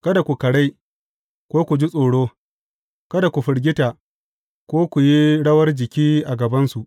Kada ku karai, ko ku ji tsoro; kada ku firgita, ko ku yi rawar jiki a gabansu.